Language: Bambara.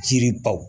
Jiri baw